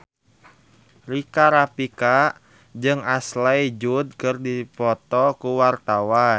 Rika Rafika jeung Ashley Judd keur dipoto ku wartawan